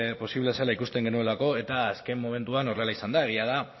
posible zela ikusten genuelako eta azken momentuan horrela izan da egia da